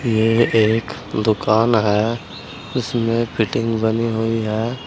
ये एक दुकान है उसमें फिटिंग बनी हुई है।